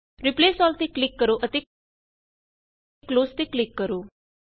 replace all ਤੇ click ਕਰੋ ਅਤੇ ਕਲੋਜ਼ ਤੇ ਕਲਿਕ ਕਰੋ